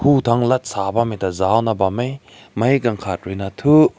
hum tank laza bam meh ta zao na bam meh kai gagat rui na tu.